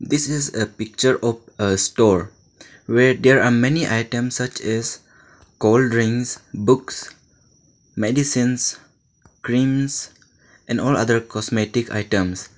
this is a picture of a store where there are many items such as cool drinks books medicines creams and all other cosmetic items.